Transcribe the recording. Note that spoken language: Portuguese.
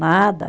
Nada.